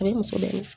A bɛ muso dɛmɛ